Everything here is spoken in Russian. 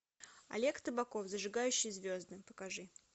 олег табаков зажигающий звезды покажи